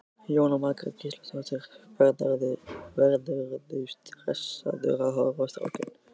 Jóhanna Margrét Gísladóttir: Verðurðu stressaður að horfa á strákinn?